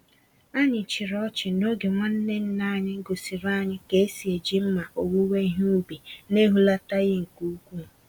Anyị chịrị ọchị n'oge nwanne nna anyị gosiri anyị ka esi eji mma owuwe ihe ubi, na-ehulataghị nke úkwú.